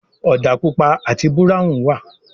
òdà pupa àti Búráhùn wá.